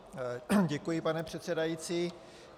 Děkuji, pane předsedající.